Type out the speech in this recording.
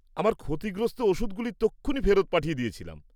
আমার ক্ষতিগ্রস্ত ওষুধগুলি তক্ষুনি ফেরত পাঠিয়ে দিয়েছিলাম।